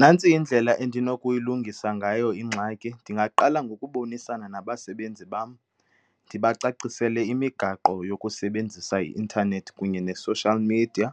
Nantsi indlela endinokuyilungisa ngayo ingxaki. Ndingaqala ngokubonisana nabasebenzi bam, ndibacacisele imigaqo yokusebenzisa i-intanethi kunye ne-social media,